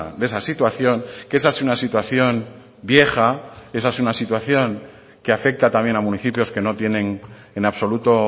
de esa situación que esa es una situación vieja esa es una situación que afecta también a municipios que no tienen en absoluto